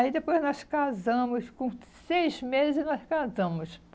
Aí depois nós casamos, com seis meses nós casamos.